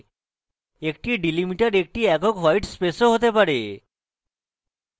একটি delimiter একটি একক হোয়ায়ট space ও হতে পারে